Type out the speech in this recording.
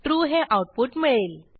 true हे output मिळेल